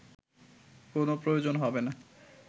কোনো প্রয়োজন হবে না